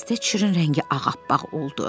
Missis Teçrin rəngi ağappaq oldu.